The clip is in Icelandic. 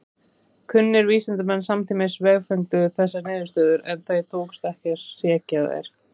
Kunnir vísindamenn samtímans vefengdu þessar niðurstöður en tókst ekki að hrekja þær.